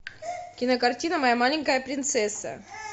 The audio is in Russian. кинокартина моя маленькая принцесса